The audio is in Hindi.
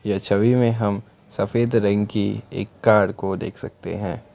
यह छवि में हम सफेद रंग की एक कार को देख सकते हैं।